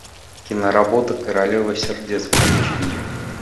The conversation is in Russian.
киноработа королева сердец включи мне